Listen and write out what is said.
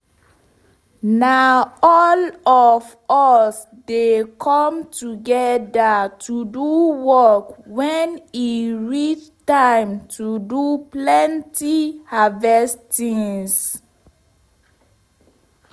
na all of us dey come togeda to do work wen e reach time to do plenty harvest tins